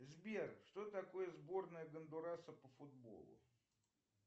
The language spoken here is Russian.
сбер что такое сборная гондураса по футболу